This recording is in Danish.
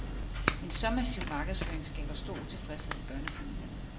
En så massiv markedsføring skaber stor utilfredshed i børnefamilierne.